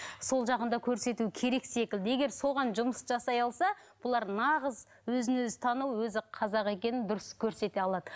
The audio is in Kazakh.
сол жағын да көрсету керек секілді егер соған жұмыс жасай алса бұлар нағыз өзін өзі тану өзі қазақ екенін дұрыс көрсете алады